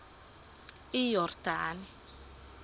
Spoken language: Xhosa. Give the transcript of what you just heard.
iyordane